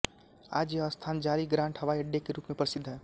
आज यह स्थान जॉली ग्रांट हवाई अड्डे के रूप में प्रसिद्ध है